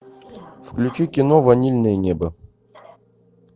включи кино ванильное небо